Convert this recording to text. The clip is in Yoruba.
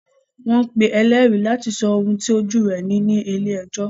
Wọ́n pe ń ẹlẹ́rìí láti sọ ohun tí ojú ẹ̀ rí ní ilé-ẹjọ́.